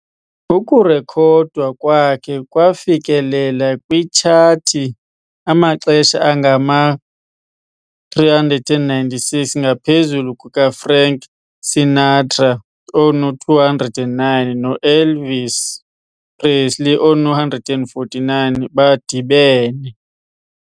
Ukurekhodwa kwakhe kwafikelela kwiitshathi amaxesha angama-396, ngaphezulu kukaFrank Sinatra, ono-209, no- Elvis Presley, ono-149, badibene.